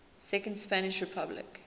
second spanish republic